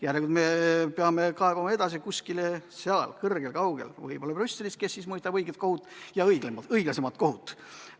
Järelikult me peame kaebama edasi kuskile kõrgemale, kaugemale, võib-olla kohtule Brüsselis, kes ehk mõistab õiglasemalt kohut.